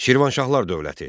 Şirvanşahlar dövləti.